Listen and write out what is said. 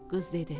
Qız dedi: